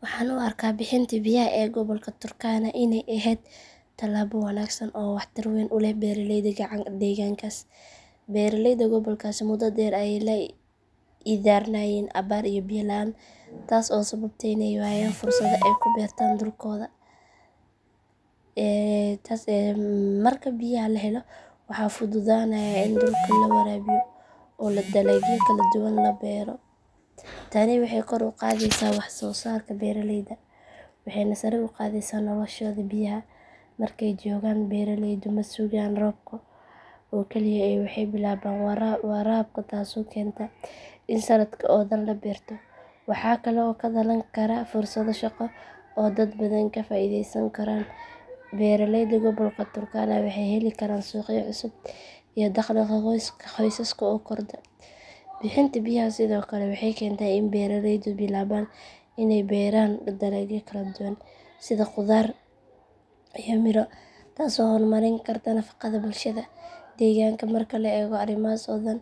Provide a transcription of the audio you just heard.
Waxaan u arkaa bixinta biyaha ee gobolka turkana inay ahayd talaabo wanaagsan oo wax tar weyn u leh beeraleyda deegaankaas. Beeraleyda gobolkaasi muddo dheer ayay la ildarnaayeen abaar iyo biyo la’aan taas oo sababtay in ay waayaan fursado ay ku beertaan dhulkooda. Marka biyaha la helo waxa fududaanaya in dhulka la waraabiyo oo dalagyo kala duwan la beero. Tani waxay kor u qaadaysaa waxsoosaarka beeraleyda waxayna sare u qaadaysaa noloshooda. Biyaha markay joogaan beeraleydu ma sugaan roobka oo keliya ee waxay bilaabaan waraabka taasoo keenta in sanadka oo dhan la beerto. Waxa kale oo ka dhalan kara fursado shaqo oo dad badan ka faa’iideysan karaan. Beeraleyda gobolka turkana waxay heli karaan suuqyo cusub iyo dakhliga qoysaska oo kordha. Bixinta biyaha sidoo kale waxay keentaa in beeraleydu bilaabaan inay beeraan dalagyo kala duwan sida khudaar iyo miro taasoo horumarin karta nafaqada bulshada deegaanka. Marka la eego arrimahaas oo dhan